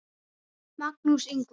Magnús Ingvar.